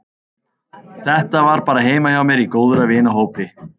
Þetta var bara heima hjá mér í góðra vina hópi.